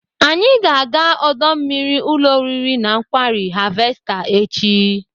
Anyị ga-aga ọdọ mmiri ụlọ oriri na nkwari Harvester echi.